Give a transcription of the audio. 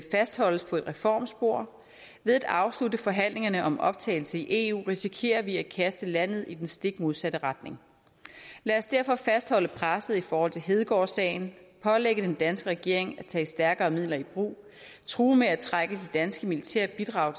fastholdes på et reformspor ved at afslutte forhandlingerne om optagelse i eu risikerer vi at kaste landet i den stik modsatte retning lad os derfor fastholde presset i forhold til hedegaardsagen pålægge den danske regering at tage stærkere midler i brug og true med at trække de danske militære bidrag